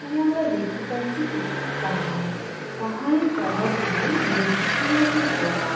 এখানে আমরা দেখতে পাচ্ছি একটি পাহাড়। পাহাড়ের তোলা দিয়ে মানে গুহা মতন করা আ--